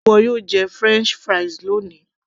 ṣé ìwọ yóò jẹ french fries loni